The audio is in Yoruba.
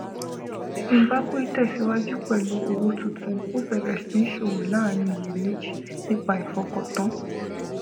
zimbabwe tẹsíwájú pẹlú owó tuntun ó bẹ̀rẹ̀ sí ṣòwò láàrín iyèméjì nípa ìfọkàntán